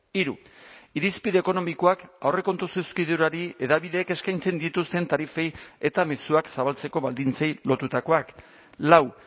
hiru irizpide ekonomikoak aurrekontu zuzkidurari hedabideek eskaintzen dituzten tarifei eta mezuak zabaltzeko baldintzei lotutakoak lau